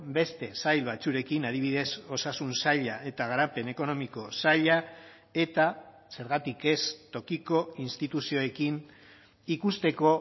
beste sail batzuekin adibidez osasun saila eta garapen ekonomiko saila eta zergatik ez tokiko instituzioekin ikusteko